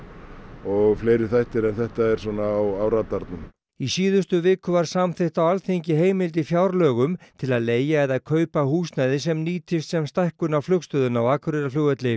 og fleiri þættir en þetta er svona á radarnum í síðustu viku var samþykkt á Alþingi heimild í fjárlögum til að leigja eða kaupa húsnæði sem nýtist sem stækkun á flugstöðinni á Akureyrarflugvelli